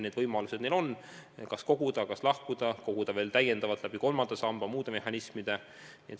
Ja võimalusi neil on: kas koguda, kas lahkuda teisest sambast, kas koguda veel täiendavalt kolmandasse sambasse või muid mehhanisme kasutades.